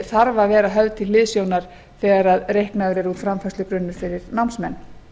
þarf að vera höfð til hliðsjónar þegar reiknaður er út framfærslugrunnur fyrir námsmenn